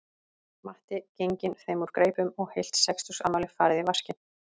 Matti genginn þeim úr greipum og heilt sextugsafmæli farið í vaskinn